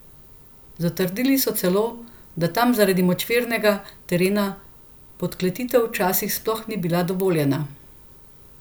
Zatrdili so celo, da tam zaradi močvirnega terena podkletitev včasih sploh ni bila dovoljena.